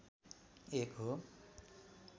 एक हो